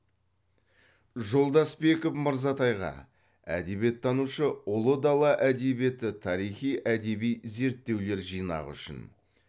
жолдасбеков мырзатайға әдебиеттанушы ұлы дала әдебиеті тарихи әдеби зерттеулер жинағы үшін